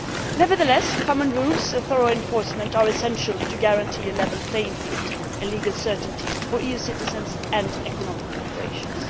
Nevertheless, common rules and thorough enforcement are essential to guarantee a level playing field and legal certainty for EU citizens and economic operations.